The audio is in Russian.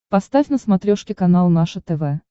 поставь на смотрешке канал наше тв